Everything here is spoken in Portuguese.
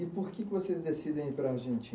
E por que que vocês decidem ir para a Argenti